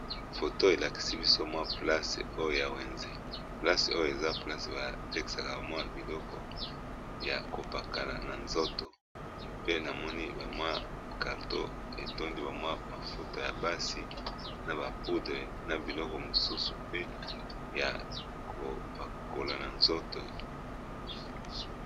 Photo elakisi biso wenze, na wenze oyo tozali komona mafuta yakopakola na nzoto ébélé